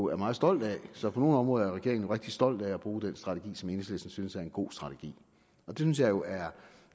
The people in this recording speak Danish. er meget stolt af så på nogle områder er regeringen rigtig stolt af at bruge den strategi som enhedslistens synes er en god strategi det synes jeg jo er